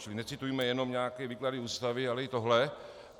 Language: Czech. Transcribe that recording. Čili necitujme jenom nějaké výklady Ústavy, ale i tohle.